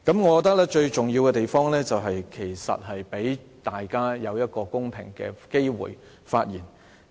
我認為最重要的是讓大家有公平的機會發言。